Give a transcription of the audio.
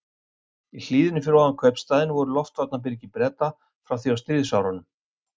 Í hlíðinni fyrir ofan kaupstaðinn voru loftvarnarbyrgi Breta frá því á stríðsárunum.